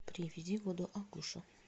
привези воду агуша